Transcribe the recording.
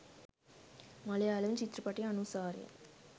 මලයාලම් ච්‍ත්‍රපටය අනුසාරයෙන්.